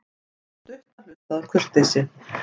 Sú stutta hlustaði af kurteisi.